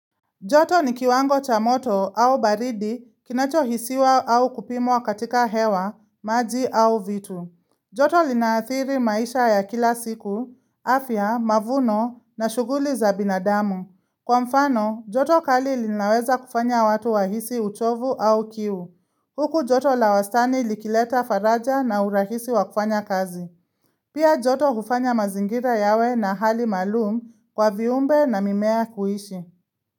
Joto ni kiwango cha moto au baridi kinacho hisiwa au kupimwa katika hewa, maji au vitu. Joto linaathiri maisha ya kila siku, afya, mavuno na shuguli za binadamu. Kwa mfano, joto kali linaweza kufanya watu wahisi uchovu au kiu. Huku joto la wastani likileta faraja na urahisi wa kufanya kazi. Pia joto hufanya mazingira yawe na hali maalum kwa viumbe na mimea kuishi.